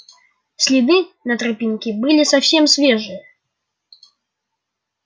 следы на тропинке были совсем свежие